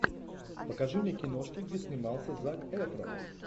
покажи мне киношки где снимался зак эфрон